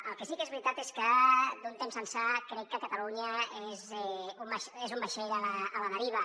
el que sí que és veritat és que d’un temps ençà crec que catalunya és un vaixell a la deriva